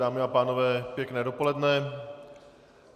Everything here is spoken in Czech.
Dámy a pánové, pěkné dopoledne.